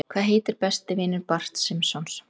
Hvað heitir besti vinur Barts Simpsons?